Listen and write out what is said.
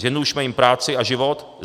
Zjednodušme jim práci a život.